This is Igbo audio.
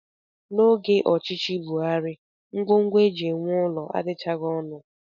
N'oge ọchịchị Buhari, ngwongwo e ji ewu ụlọ adịchaghị ọnụ